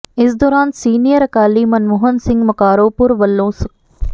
ਇਸ ਦੌਰਾਨ ਸੀਨੀਅਰ ਅਕਾਲੀ ਮਨਮੋਹਨ ਸਿੰਘ ਮਕਾਰੋਂਪੁਰ ਵਲੋਂ ਸ